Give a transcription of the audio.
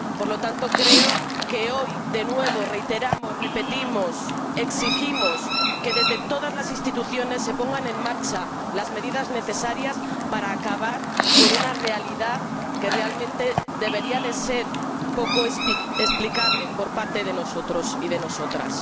Por lo tanto, creo que hoy, de nuevo, reiteramos, repetimos, exigimos, que desde todas las instituciones se pongan en marcha las medidas necesarias para acabar con una realidad que, de verdad, debería ser poco explicable por parte de nosotros y de nosotras.